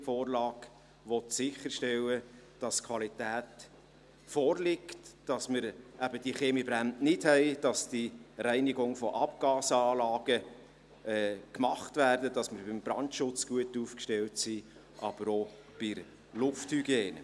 Die Vorlage will sicherstellen, dass Qualität vorliegt, dass wir keine Kaminbrände haben, dass die Reinigungen von Abgasanlagen gemacht werden, dass man beim Brandschutz gut aufgestellt ist, aber auch bei der Lufthygiene.